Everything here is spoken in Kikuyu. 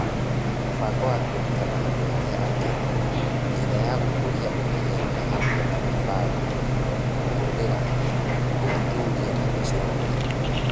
Mũbango wa kwĩruta na andũ arĩa angĩ (njĩra ya gũkũria ũmenyeru ni hamwe na mĩbango, kũhũthĩra, gũthuthuria, na gwĩcũrania).